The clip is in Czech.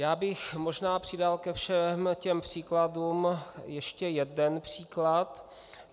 Já bych možná přidal ke všem těm příkladům ještě jeden příklad.